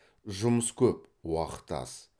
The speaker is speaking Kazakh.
жұмыс көп уақыт аз